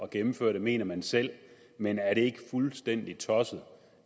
gennemføre det mener man selv men er det ikke fuldstændig tosset